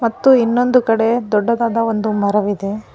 ಮತ್ತು ಇನ್ನೊಂದು ಕಡೆ ದೊಡ್ಡದಾದ ಒಂದು ಮರವಿದೆ.